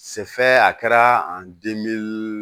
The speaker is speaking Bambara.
a kɛra